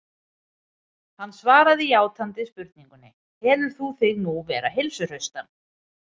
Hann svaraði játandi spurningunni: Telur þú þig nú vera heilsuhraustan?